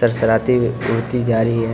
सरसराती उड़ती जा रही है।